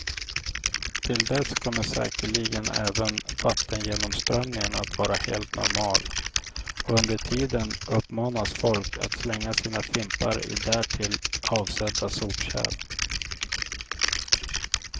Till dess kommer säkerligen även vattengenomströmningen att vara helt normal, och under tiden uppmanas folk att slänga sina fimpar i därtill avsedda sopkärl.